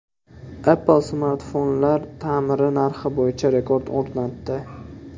Apple smartfonlar ta’miri narxi bo‘yicha rekord o‘rnatdi.